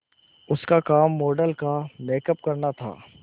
उसका काम मॉडल का मेकअप करना था